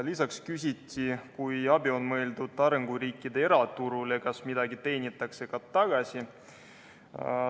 Lisaks küsiti, et kui abi on mõeldud arenguriikide eraturule, kas siis midagi teenitakse ka tagasi.